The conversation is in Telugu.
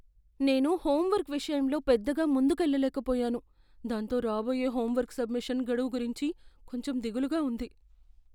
నేను హోంవర్క్ విషయంలో పెద్దగా ముందుకెళ్ళలేకపోయాను, దాంతో రాబోయే హోంవర్క్ సబ్మిషన్ గడువు గురించి కొంచెం దిగులుగా ఉంది.